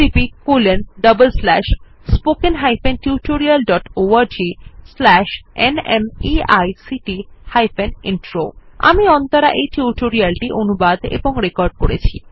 httpspoken tutorialorgNMEICT Intro আমি অন্তরা এই tutorial টি অনুবাদ এবং রেকর্ড করেছি